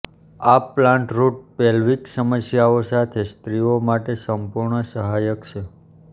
આ plant root pelvic સમસ્યાઓ સાથે સ્ત્રીઓ માટે સંપૂર્ણ સહાયક છે